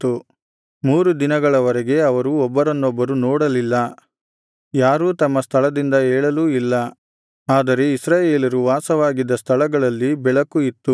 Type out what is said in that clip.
ಮೂರು ದಿನಗಳವರೆಗೆ ಅವರು ಒಬ್ಬರನ್ನೊಬ್ಬರು ನೋಡಲಿಲ್ಲ ಯಾರೂ ತಮ್ಮ ಸ್ಥಳದಿಂದ ಏಳಲೂ ಇಲ್ಲ ಆದರೆ ಇಸ್ರಾಯೇಲರು ವಾಸವಾಗಿದ್ದ ಸ್ಥಳಗಳಲ್ಲಿ ಬೆಳಕು ಇತ್ತು